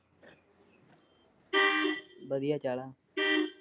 ਵਧੀਆ ਚਲਾ